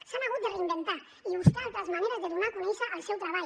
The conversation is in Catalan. s’han hagut de reinventar i buscar altres maneres de donar a conèixer el seu treball